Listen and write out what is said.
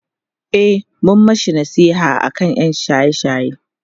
e mun mashi nasiha aka ƴan shaye shaye